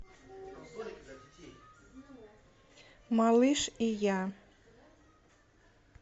малыш и я